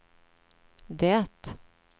det